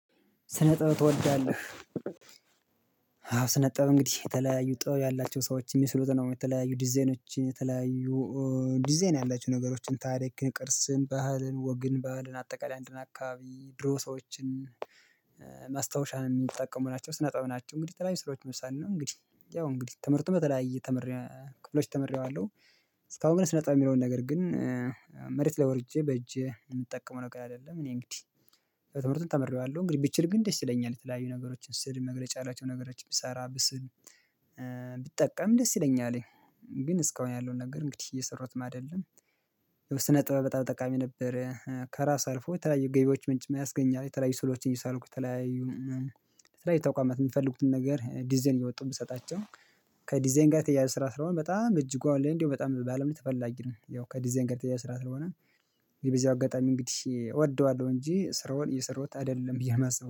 ስነጥበብ ትወዳለህ? አዎ ስነጥበብ እንግዲህ የተለያዩ ጥበብ ያላቸው ሰዎች የሚስሉትን የተለያዩ ዲዛይኖችን፥ የተለያዩ ዲዛይን ያላችሁ ነገሮችን ታሪክን፥ ቅርስን፥ ባህልን ፥ወግን ፥ባህልን አጠቃላይ አንድን አካባቢ ድሮ ሰዎችን ማስታወሻን የሚጠቀሙ ናቸው። ስነ ጥበብ ናቸው። እንግዲህ የተለያዩ ስራዎች መሳኝ ነው። እንግዲህ ያው እንግዲህ ትምህርቱ በተለያየ ተምሬ ክፍሎች ተመሬዋለሁ። እስካሁን ግን ስነ ጥበብ የሚለውን ነገር ግን ማስታወሻን የሚጠቀሙ ናቸው። ስነ ጥበብ ናቸው። እንግዲህ የተለያዩ ስራዎች መሳኝ ነው። እንግዲህ ያው እንግዲህ ትምህርቱ በተለያየ ተምሬ ክፍሎች ተመሬዋለሁ። እስካሁን ግን ስነ ጥበብ የሚለውን ነገር ግን ቢጠቀም ደስ ይለኛል። ግን እስካሁን ያለውን ነገር እንግዲህ እየሰሩትም አይደለም። ስነ ጥበ ብበጣም ጠቃሚ ነበረ። ከራስ አልፎ የተለያዩ ገቢዎች ምንጭ ያስገኛል። የተለያዩ ስዕሎችን እየሳልኩት ተለያዩ የተለያዩ ተቋማት የምትፈልጉትን ነገር ዲዛይን እየወጡ የምሰጣቸው ከዲዛይን ጋር የተያያዘ ስራ ስለሆነ በጣም እጅጉ አለኝ እንደው በጣም በአለም ተፈላጊ ነው። ያው ከዲዛይን ጋር የተያያዘ ስራ ስለሆነ በዚህ አጋጣሚ እንግዲህ እወደዋለሁ እንጂ ስራውን እየሰራሁት አይደለም ብዬ ነው የማስበው።